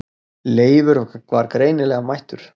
Leifur var greinilega mættur.